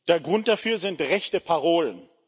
Der Grund dafür sind rechte Parolen.